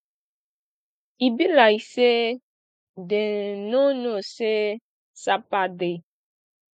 e be like say dem no know say sapa dey